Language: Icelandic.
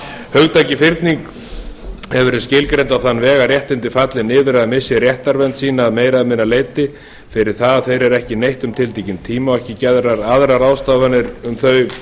hugtakið fyrning hefur verið skilgreint á þann veg að réttindi falli niður eða missi réttarvernd sína að meira eða minna leyti fyrir það að þeirra er ekki neytt um tiltekinn tíma og ekki gerðar aðrar ráðstafanir um þau